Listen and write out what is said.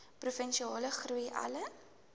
provinsiale groei alle